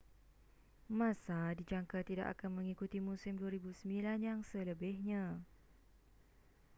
massa dijangka tidak akan mengikuti musim 2009 yang selebihnya